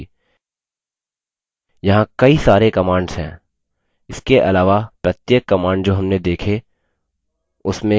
यहाँ कई सारी commands हैं इसके अलावा प्रत्येक commands जो हमने देखी उसमें कई अन्य options हैं